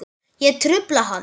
Ég trufla hann.